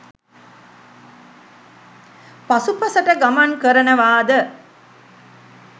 පසුපසට ගමන් කරනවාද